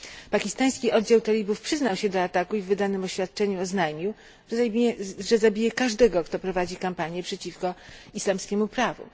Pakistański oddział talibów przyznał się do ataku i w wydanym oświadczeniu oznajmił, że zabije każdego, kto prowadzi kampanię przeciwko islamskiemu prawu.